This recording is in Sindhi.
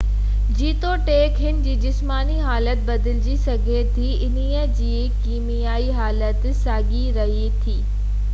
جيتوڻيڪ هن جي جسماني حالت بدلجي سگهي ٿي انهي جي ڪيميائي حالت ساڳئي رهي ٿي